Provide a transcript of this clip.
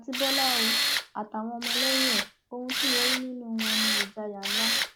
àti bọlá o àtàwọn ọmọlẹyìn ẹ ohun tí mo rí nínú wọn ní ìjayà ńlá